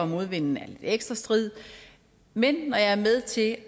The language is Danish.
modvinden er lidt ekstra strid men når jeg er med til